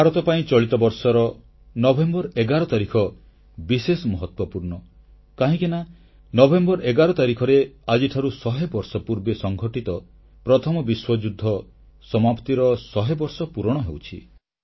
ଭାରତ ପାଇଁ ଚଳିତ ବର୍ଷର ନଭେମ୍ବର 11 ତାରିଖ ବିଶେଷ ମହତ୍ୱପୂର୍ଣ୍ଣ କାହିଁକି ନା ନଭେମ୍ବର 11 ତାରିଖରେ ଆଜିଠାରୁ 100 ବର୍ଷ ପୂର୍ବେ ସଂଘଟିତ ପ୍ରଥମ ବିଶ୍ୱଯୁଦ୍ଧ ସମାପ୍ତିର 100 ବର୍ଷ ପୂରଣ ହେଉଛି